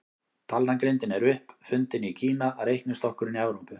Talnagrindin er upp fundin í Kína, reiknistokkurinn í Evrópu.